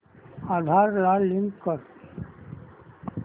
आधार ला लिंक कर